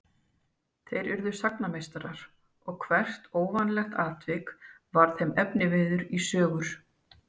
Þeir urðu sagnameistarar og hvert óvanalegt atvik varð þeim efniviður í sögur.